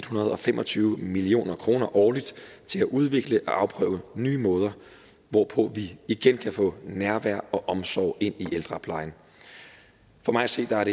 hundrede og fem og tyve million kroner årligt til at udvikle og afprøve nye måder hvorpå vi igen kan få nærvær og omsorg ind i ældreplejen for mig at se er